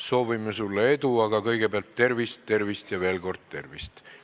Soovime sulle edu, aga kõigepealt tervist, tervist ja veel kord tervist.